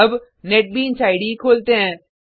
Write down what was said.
अब NetBeans IDE खोलते हैं